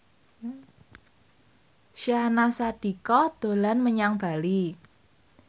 Syahnaz Sadiqah dolan menyang Bali